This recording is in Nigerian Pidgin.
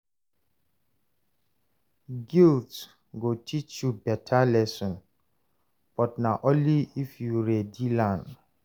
Guilt go teach you better lesson, but na only if you ready learn.